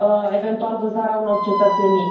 eventual vânzarea unor cetățenii.